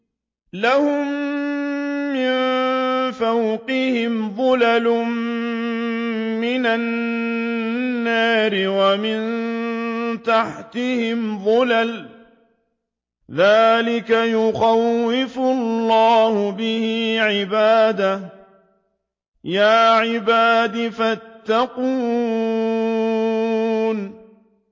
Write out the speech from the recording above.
لَهُم مِّن فَوْقِهِمْ ظُلَلٌ مِّنَ النَّارِ وَمِن تَحْتِهِمْ ظُلَلٌ ۚ ذَٰلِكَ يُخَوِّفُ اللَّهُ بِهِ عِبَادَهُ ۚ يَا عِبَادِ فَاتَّقُونِ